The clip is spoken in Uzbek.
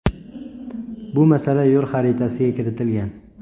Bu masala yo‘l xaritasiga kiritilgan.